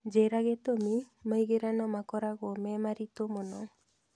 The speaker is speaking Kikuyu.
njĩira gĩtũmi maĩgĩrano makoragwo me maritũ mũno